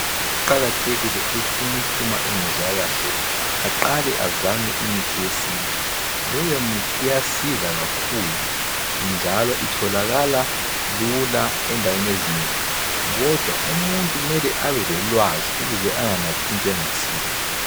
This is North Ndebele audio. Kuqakathekile ukuthi umuntu uma engezwa kahle aqale azame umuthi wesintu. Leyo mithi iyasiza kakhulu njalo itholakala lula endaweni ezinengi kodwa umuntu kumele abe lolwazi ukuze anganathi into engayisiyo.